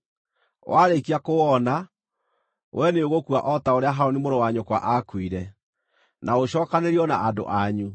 Warĩkia kũwona, we nĩũgũkua o ta ũrĩa Harũni mũrũ wa nyũkwa aakuire, na ũcookanĩrĩrio na andũ anyu,